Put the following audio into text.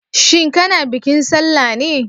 Shin kana bikin sallah ne?